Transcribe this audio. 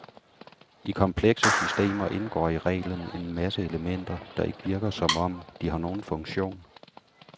I komplekse systemer indgår i reglen en masse elementer, der ikke virker som om, de har nogen funktion.